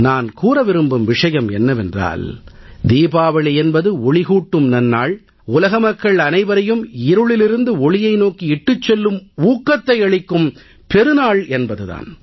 நான் கூற விரும்பும் விஷயம் என்னவென்றால் தீபாவளி என்பது ஒளிகூட்டும் நன்னாள் உலக மக்கள் அனைவரையும் இருளிலிருந்து ஒளியை நோக்கி இட்டுச் செல்லும் ஊக்கத்தை அளிக்கும் பெரு நாள் என்பது தான்